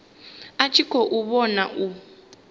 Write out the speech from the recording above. a tshi khou vhona u